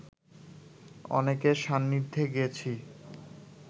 অনেকের সান্নিধ্যে গেছি